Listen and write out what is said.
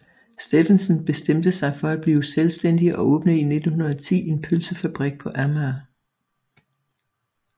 Steffensen bestemte sig for at blive selvstændig og åbnede i 1910 en pølsefabrik på Amager